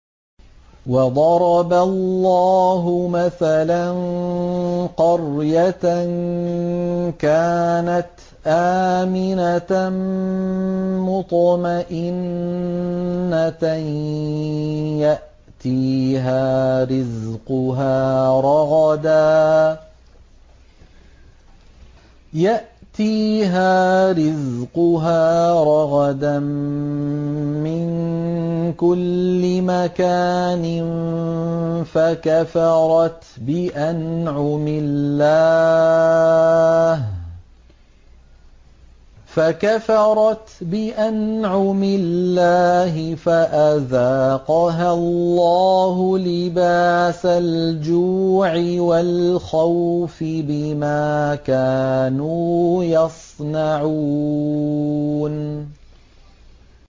وَضَرَبَ اللَّهُ مَثَلًا قَرْيَةً كَانَتْ آمِنَةً مُّطْمَئِنَّةً يَأْتِيهَا رِزْقُهَا رَغَدًا مِّن كُلِّ مَكَانٍ فَكَفَرَتْ بِأَنْعُمِ اللَّهِ فَأَذَاقَهَا اللَّهُ لِبَاسَ الْجُوعِ وَالْخَوْفِ بِمَا كَانُوا يَصْنَعُونَ